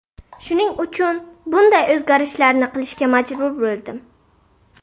Shuning uchun bunday o‘zgarishlarni qilishga majbur bo‘ldim.